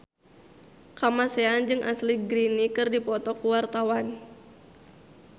Kamasean jeung Ashley Greene keur dipoto ku wartawan